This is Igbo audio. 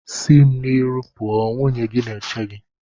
Si mu n'iru pụọ! nwunye gị na-eche gị.